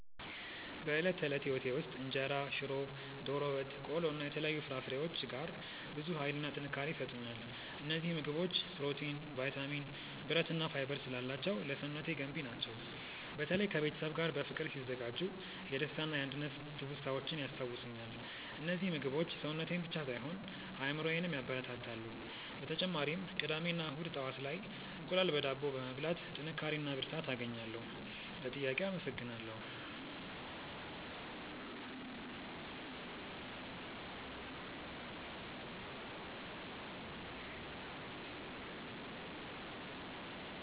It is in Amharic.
በዕለት ተዕለት ሕይወቴ ውስጥ እንጀራ፣ ሽሮ፣ ዶሮ ወጥ፣ ቆሎ እና የተለያዩ ፍራፍሬዎች ጋር ብዙ ኃይልና ጥንካሬ ይሰጡኛል። እነዚህ ምግቦች ፕሮቲን፣ ቫይታሚን፣ ብረት እና ፋይበር ስላላቸው ለሰውነቴ ገንቢ ናቸው። በተለይ ከቤተሰብ ጋር በፍቅር ሲዘጋጁ የደስታና የአንድነት ትውስታዎችን ያስታውሱኛል። እነዚህ ምግቦች ሰውነቴን ብቻ ሳይሆን አእምሮዬንም ያበረታታሉ። በተጨማሪም ቅዳሜ እና እሁድ ጠዋት ላይ እንቁላል በዳቦ በመብላት ጥንካሬ እና ብርታት አገኛለሁ። ለጥያቄው አመሰግናለሁ።